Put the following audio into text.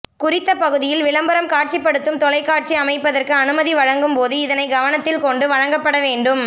குறித்த பகுதியில் விளம்பரம் காட்சிப்படுத்தும் தொலைக்காட்சி அமைப்பதற்கு அனுமதி வழங்கும்போது இதனைக்கவனத்தில் கொண்டு வழங்கப்படவேண்டும்